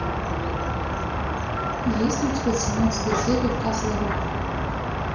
есть ли у тебя семнадцатая серия касл рок